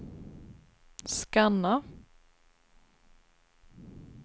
scanna